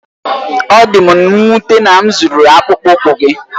Ọ dị m nwute na m zuru akpụkpọ ụkwụ gị.